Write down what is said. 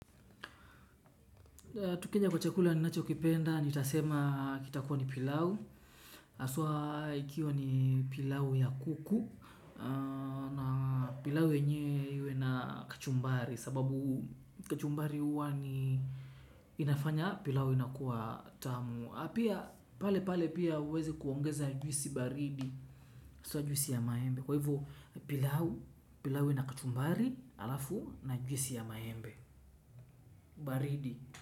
Tukija kwa chakula ninachokipenda, nitasema kitakuwa ni pilau, haswa ikiwa ni pilau ya kuku, na pilau yenyewe iwe na kachumbari, kwa sababu kachumbari huwa ni inafanya, pilau inakuwa tamu, pia pale pia uweze kuongeza juisi baridi, haswa juisi ya maembe, kwa hivo pilau, pilau ina kachumbari alafu na juisi ya maembe, baridi.